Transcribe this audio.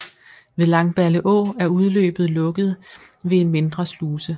Ved Langballeå er udløbet lukket ved en mindre sluse